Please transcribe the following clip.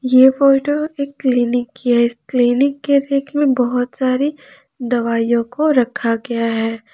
ये फोटो एक क्लीनिक की है इस क्लीनिक के रेक में बहुत सारी दवाइयों को रखा गया है।